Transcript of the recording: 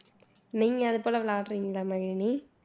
நீங்க அது போல் விளையாடுறீங்களா மகிழினி